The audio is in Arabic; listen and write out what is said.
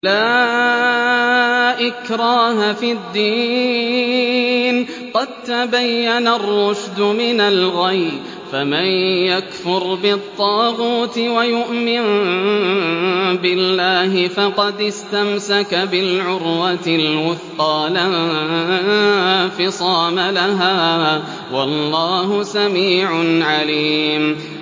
لَا إِكْرَاهَ فِي الدِّينِ ۖ قَد تَّبَيَّنَ الرُّشْدُ مِنَ الْغَيِّ ۚ فَمَن يَكْفُرْ بِالطَّاغُوتِ وَيُؤْمِن بِاللَّهِ فَقَدِ اسْتَمْسَكَ بِالْعُرْوَةِ الْوُثْقَىٰ لَا انفِصَامَ لَهَا ۗ وَاللَّهُ سَمِيعٌ عَلِيمٌ